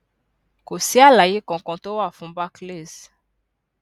kò sí àlàyé kankan tó wà fún barclays